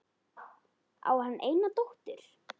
Á hann eina dóttur.